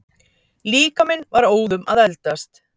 Líkaminn var óðum að eldast.